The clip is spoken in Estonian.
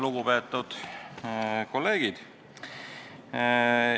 Lugupeetud kolleegid!